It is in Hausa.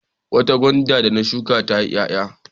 Wata gwanda da na shuka ya ti ƴaƴa.